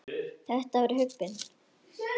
Þetta var huggun.